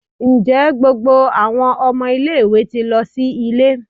Njẹ gbogbo awọn ọmọ ile-iwe ti lọ si ile?